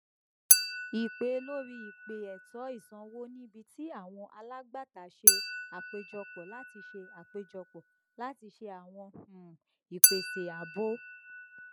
ìpè lórí ìpè ètò ìṣòwò níbi tí àwọn alágbàtà ṣe àpéjọpọ láti ṣe àpéjọpọ láti ṣe àwọn um ìpèsè àábò